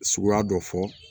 Suguya dɔ fɔ